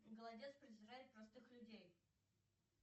голодец презирает простых людей